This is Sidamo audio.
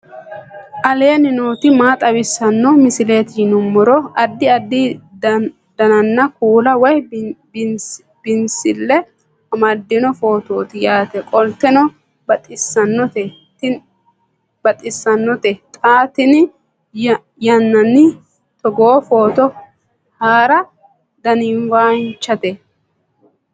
aleenni nooti maa xawisanno misileeti yinummoro addi addi dananna kuula woy biinsille amaddino footooti yaate qoltenno baxissannote xa tenne yannanni togoo footo haara danvchate